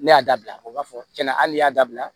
Ne y'a bila o b'a fɔ cɛn na hali ne y'a dabila